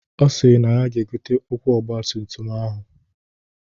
Ọ sịrị na ya ga-egote ụkwụ ọgbatumtum ahụ